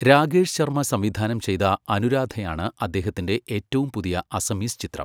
രാകേഷ് ശർമ്മ സംവിധാനം ചെയ്ത അനുരാധയാണ് അദ്ദേഹത്തിന്റെ ഏറ്റവും പുതിയ അസമീസ് ചിത്രം.